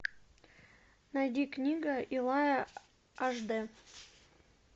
найди книга илая ашдэ